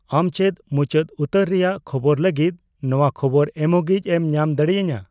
ᱟᱢ ᱪᱮᱫ ᱢᱩᱪᱟᱹᱫ ᱩᱛᱟᱹᱨ ᱨᱮᱭᱟᱜ ᱠᱷᱚᱵᱚᱨ ᱞᱟᱹᱜᱤᱫ ᱱᱟᱣᱟ ᱠᱷᱚᱵᱚᱨ ᱮᱢᱚᱜᱤᱡ ᱮᱢ ᱧᱟᱢ ᱫᱟᱲᱮᱭᱟᱹᱧᱟᱹ